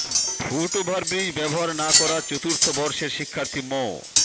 foot overbridge ব্যবহার না করা চতুর্থ বর্ষের শিক্ষার্থী মো